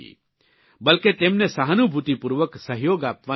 બ્લકે તેમને સહાનુભૂતિપૂર્વક સહયોગ આપવાની જરૂર છે